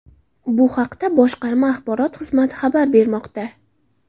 Bu haqda boshqarma axborot xizmati xabar bermoqda .